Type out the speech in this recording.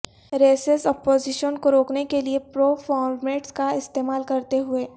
recess opposition کو روکنے کے لئے پرو فارمیٹس کا استعمال کرتے ہوئے